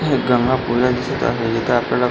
हे एक गंगापूजा दिसत आहे येथ आपल्याला --